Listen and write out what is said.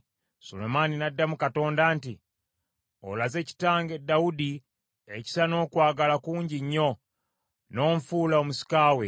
Sulemaani n’addamu Katonda nti, “Olazze kitange Dawudi ekisa n’okwagala kungi nnyo, n’onfuula omusika we.